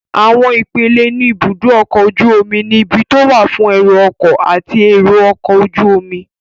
Àwọn ipele ní ibùdó ọkọ̀ ojú omi ni; ibi tó wà fún ẹrù ọkọ̀ àti èrò ọkọ̀ ojú omi